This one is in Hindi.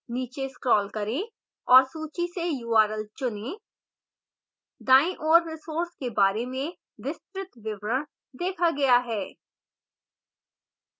नीचे scroll करें और सूची से url चुनें दाईं ओर resource के बारे में विस्तृत विवरण देखा गया है